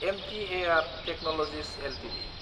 MTAR technologies Ltd